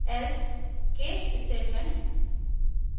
else case statements